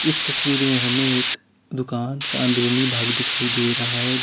इस तस्वीर में हमें एक दुकान का अंदरूनी भाग दिखाई दे रहा है।